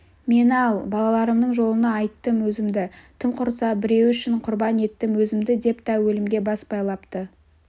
мені ал балаларымның жолына айттым өзімді тым құрса біреуі үшін құрбан еттім өзімді деп да өлімге бас байлапты